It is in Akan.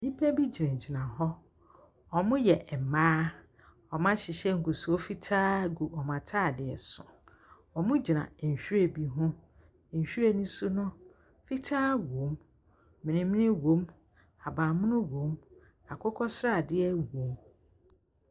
Nnipa bi gyina gyina hɔ. Ɔmo yɛ mmaa. Ɔmo ahyehyɛ ngusoɔ fitaa gu ɔmo ataadeɛ so. Ɔmo gyina nhwiren bi ho. Nhwiren no so no, fitaa wom. Menmen wom. Ahabanmono wom. Akokɔsradeɛ wom.